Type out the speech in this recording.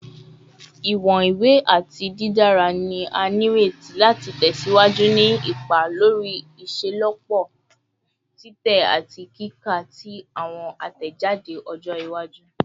Iwọn iwe ati didara ni a nireti lati tẹsiwaju ni ipa lori iṣelọpọ titẹ ati kika ti awọn atẹjade ọjọ iwaju